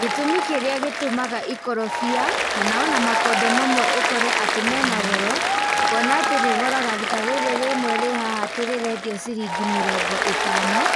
Gĩtũmi kĩrĩa gĩtũmaga ikorobia, kanona makondo mamwe ũkore mena goro, kuona atĩ rĩgoraga, ta rĩrĩ rĩmwe rĩ haha atĩ rĩrendio ciringi mĩrongo ĩtano,